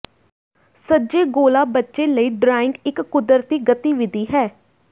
ਸੱਜੇ ਗੋਲਾ ਬੱਚੇ ਲਈ ਡਰਾਇੰਗ ਇੱਕ ਕੁਦਰਤੀ ਗਤੀਵਿਧੀ ਹੈ